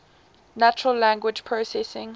natural language processing